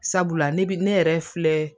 Sabula ne bi ne yɛrɛ filɛ